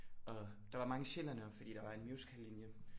Og der var mange sjællændere fordi der var en musicallinje